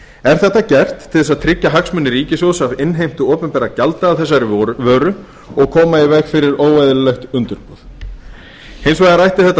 er þetta gert til að tryggja hagsmuni ríkissjóðs af innheimtu opinberra gjalda af þessari vöru og koma í veg fyrir óeðlilegt undirboð hins vegar ætti þetta